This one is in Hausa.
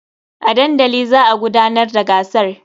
A dandali za a gudanar da gasar.